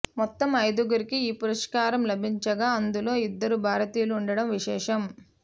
మొత్తం ఐదు గురికి ఈ పురస్కారం లభించగా అందులో ఇద్దరు భారతీయులు ఉండడం విశేషం